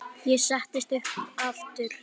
Ég settist aftur upp.